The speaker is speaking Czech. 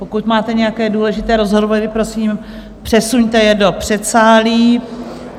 Pokud máte nějaké důležité rozhovory, prosím, přesuňte je do předsálí.